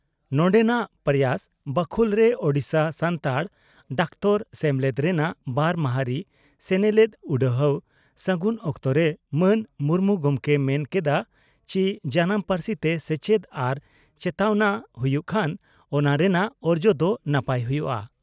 ᱱᱚᱰᱮᱱᱟᱜ 'ᱯᱨᱚᱭᱟᱥ' ᱵᱟᱠᱷᱩᱞ ᱨᱮ ᱳᱰᱤᱥᱟ ᱥᱟᱱᱛᱟᱲ ᱰᱟᱠᱛᱟᱨ ᱥᱮᱢᱞᱮᱫ ᱨᱮᱱᱟᱜ ᱵᱟᱨ ᱢᱟᱦᱟᱨᱤ ᱥᱮᱱᱮᱞᱮᱫ ᱩᱰᱦᱟᱹᱣ ᱥᱟᱹᱜᱩᱱ ᱚᱠᱛᱚᱨᱮ ᱢᱟᱱ ᱢᱩᱨᱢᱩ ᱜᱚᱢᱠᱮᱭ ᱢᱮᱱ ᱠᱮᱫᱼᱟ ᱪᱤ ᱡᱟᱱᱟᱢ ᱯᱟᱹᱨᱥᱤ ᱛᱮ ᱥᱮᱪᱮᱫ ᱟᱨ ᱪᱮᱛᱟᱣᱱᱟ ᱦᱩᱭᱩᱜ ᱠᱷᱟᱱ ᱚᱱᱟ ᱨᱮᱱᱟᱜ ᱚᱨᱡᱚ ᱫᱚ ᱱᱟᱯᱟᱭ ᱦᱩᱭᱩᱜᱼᱟ ᱾